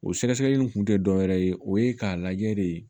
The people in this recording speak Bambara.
O sɛgɛsɛgɛli in kun tɛ dɔwɛrɛ ye o ye k'a lajɛ de